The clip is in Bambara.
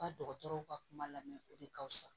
Ka dɔgɔtɔrɔw ka kuma lamɛ o de ka fisa